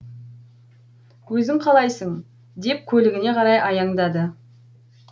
өзің қалайсың деп көлігіне қарай аяңдады